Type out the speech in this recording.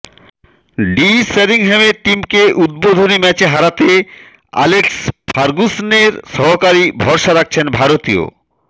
D শেরিংহ্যামের টিমকে উদ্বোধনী ম্যাচে হারাতে অ্যালেক্স ফার্গুসনের সহকারী ভরসা রাখছেন ভারতীয়